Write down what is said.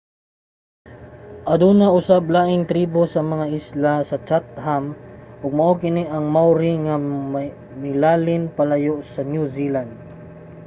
aduna usab laing tribo sa mga isla sa chatham ug mao kini ang maori nga milalin palayo sa new zealand